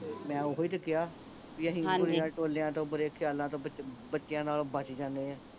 ਮੈਂ ਓਹੋ ਹੀ ਤੇ ਕਿਹਾ ਬੀ ਅਸੀਂ ਹਾਂਜੀ ਬੁਰੇਆਂ ਟੋਲਿਆਂ ਤੋਂ ਬੁਰਿਆਂ ਖਿਆਲਾਂ ਤੋਂ ਬਚ ਬੱਚਿਆਂ ਨਾਲੋਂ ਬਚ ਜਾਨੇ ਆਂ